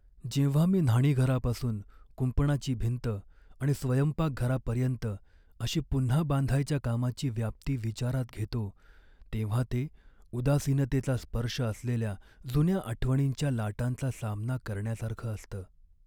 जेव्हा मी न्हाणीघरापासून कुंपणाची भिंत आणि स्वयंपाकघरापर्यंत, अशी पुन्हा बांधायच्या कामाची व्याप्ती विचारात घेतो, तेव्हा ते उदासीनतेचा स्पर्श असलेल्या जुन्या आठवणींच्या लाटांचा सामना करण्यासारखं असतं.